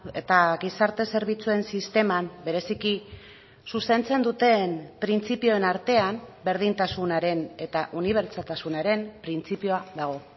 eta gizarte zerbitzuen sisteman bereziki zuzentzen duten printzipioen artean berdintasunaren eta unibertsaltasunaren printzipioa dago